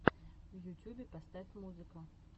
в ютюбе поставь музыка